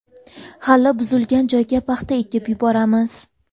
G‘alla buzilgan joyga paxta ekib yuboramiz”.